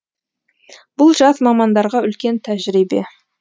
бұл жас мамандарға үлкен тәжірибе